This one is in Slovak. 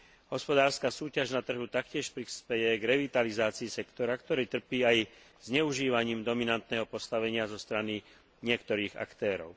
Hospodárska súťaž na trhu taktiež prispeje k revitalizácii sektora, ktorý trpí aj zneužívaním dominantného postavenia zo strany niektorých aktérov.